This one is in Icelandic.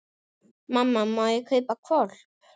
Mamma, má ég kaupa hvolp?